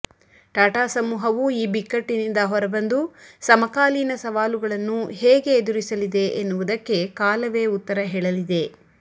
ಟಾಟಾ ಸಮೂಹವು ಈ ಬಿಕ್ಕಟ್ಟಿನಿಂದ ಹೊರ ಬಂದು ಸಮಕಾಲೀನ ಸವಾಲುಗಳನ್ನು ಹೇಗೆ ಎದುರಿಸಲಿದೆ ಎನ್ನುವುದಕ್ಕೆ ಕಾಲವೇ ಉತ್ತರ ಹೇಳಲಿದೆ